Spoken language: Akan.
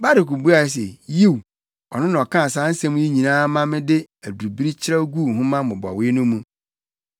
Baruk buae se, “Yiw, ɔno na ɔkaa saa nsɛm yi nyinaa ma mede adubiri kyerɛw guu nhoma mmobɔwee no mu.”